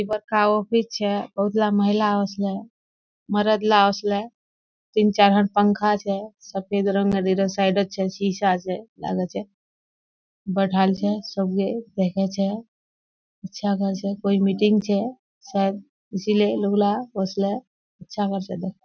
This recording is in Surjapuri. ई बताव होइ छे महिला ओइसने मरद ला ओसले। तीन-चार हन पंखा छे सफेद रंग अ इरे साइडे छे सीसा आछे लागे छे। बैठाल छे सबगे देखै छे अच्छा करे छे कोई मीटिंग छे शायद इसलिये अच्छा करी छे। दे --